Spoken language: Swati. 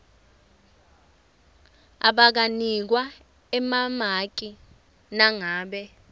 abanganikwa emamaki nangabe